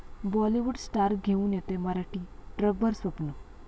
Bollywood star घेऊन येतोय मराठी 'ट्रकभर स्वप्न'